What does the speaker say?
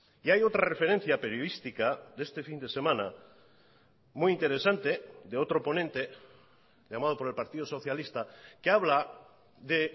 y hay otra referencia periodística de este fin de semana muy interesante de otro ponente llamado por el partido socialista que habla de